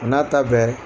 A n'a ta bɛɛ